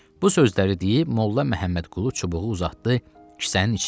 Bu sözləri deyib Molla Məhəmmədqulu çubuğu uzatdı kisənin içinə.